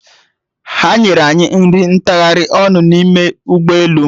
Ha nyere anyị nri ntagharị ọnụ n'ime ụgbọelu